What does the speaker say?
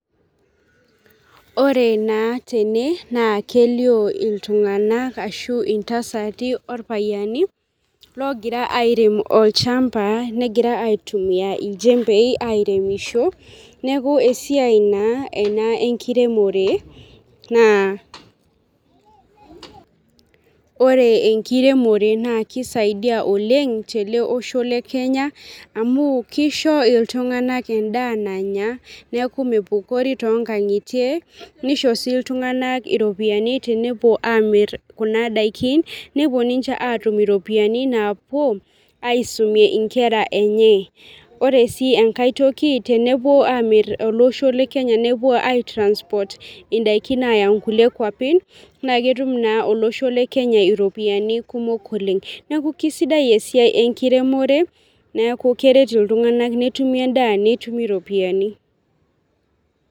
Ore na tene na kelio ltunganak ashu ntasati orpayiani logira arem olchamba negira aitumia irjembei egira aremisho ,neaku esiai ena enkiremore, ore enkiremore na kisaidia oleng teleosho lekenya amu kisho ltunganak enda nanya neaku mepukori tonkangitie nisho si ltunganak iropiyiani tenepuo amir kuna dakin nepuo ninche atum iropiyiani napuo aisumie nkera enye ore si enkae toki tenepuo amiri si tolosho lekenya nepuo ai transport ndakini aya nkulie kuapi na ketum na olosho lekenya ropiyani kumok oleng, neaku kesidai esiai enkiremore neaku kerert ltunganak netumi endaa netumi ropiyani.